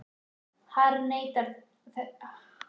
harðneitaðir þess vegna að fara í hópferð!